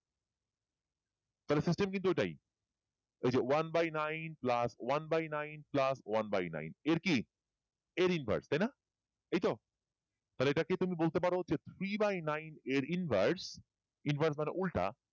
তাহলে সূত্র কিন্তু ওইটাই ওই যে one by nine pulse one by nine plus one by nine এর কি এর inverse তাই না এইতো তাহলে এটাকে তুমি বলতে পারো three by nine এর inverse inverse মানে উল্টা